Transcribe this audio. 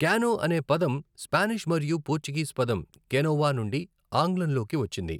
Canoe ' అనే పదం Spanish మరియు పోర్చుగీస్ పదం 'కెనోవా' నుండి ఆంగ్లంలోకి వచ్చింది.